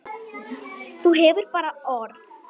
Þú hefur bara orð.